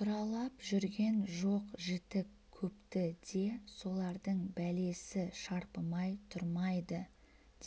тұралап жүрген жоқ-жітік көпті де солардың бәлесі шарпымай тұрмайды